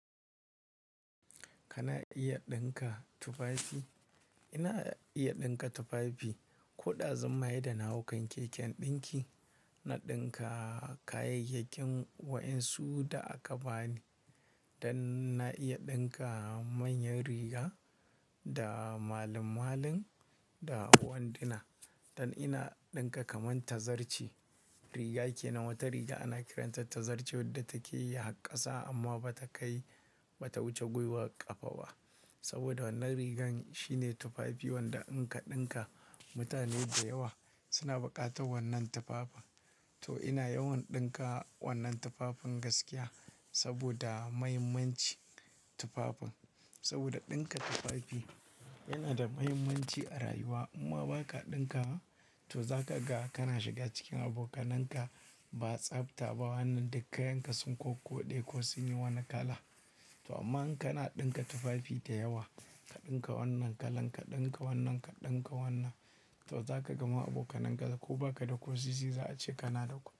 Kana iya ɗinka tufafi? Ina iya ɗinka tufafi. Ko ɗazun mahe da nahaukan keken ɗinki, na ɗinka kayayyakin waɗansu da aka bani. Dan na iya ɗinka manyan riga da malim-malin da wanduna. Dan ina ɗinka kaman tazarce riga, ke nan wata riga ana kiranta tazarce wadda take yi hakkasa amma bata kai, bata wuce gwiwar ƙafa ba. Saboda wannan rigan shine tufafi wanda in ka ɗinka mutane da yawa suna buƙatar wannan tufafin. To ina yawan ɗinka wannan tufafin gaskiya saboda mahimmancin tufafin. Saboda ɗinka tufafi yana da mahimmanci a rayuwa. Amma baka ɗinka ba, to zaka ga kana shiga cikin abokanan ka ba tsabta ba wannan da kayan ka sun ko koɗe ko sun yi wani kala. To amma in kana ɗinka tufafi da yawa, ka ɗinka wannan kalan, ka ɗinka wannan, ka ɗinka wannan, to zaka gama abokanan ka ko baka da ƙosisi za a ce kana da kuɗi.